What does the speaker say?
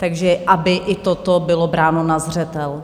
Takže aby i toto bylo bráno na zřetel.